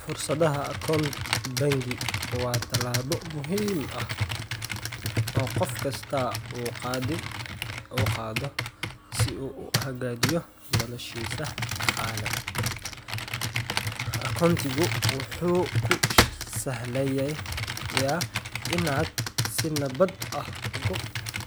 Furashada akoont bangi waa tallaabo muhiim ah oo qof kasta uu qaado si uu u hagaajiyo noloshiisa dhaqaale. Akoontigu wuxuu kuu sahlayaa inaad si nabad ah ugu